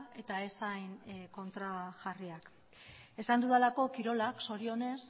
eta ez hain kontrajarriak esan dudalako kirolak zorionez